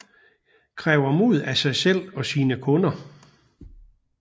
Kræver mod af sig selv og sine kunder